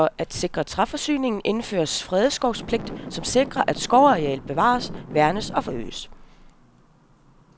For at sikre træforsyningen, indførtes fredskovspligt, som sikrer, at skovarealet bevares, værnes og forøges.